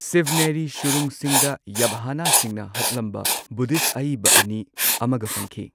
Scenery ꯁꯨꯔꯨꯡꯁꯤꯡꯗ ꯌꯥꯚꯥꯅꯥꯁꯤꯡꯅ ꯍꯛꯂꯝꯕ ꯕꯨꯙꯤꯁꯠ ꯑꯏꯕ ꯑꯅꯤ ꯑꯃꯒ ꯐꯪꯈꯤ꯫